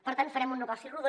per tant farem un negoci rodó